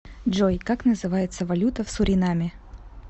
джой как называется валюта в суринаме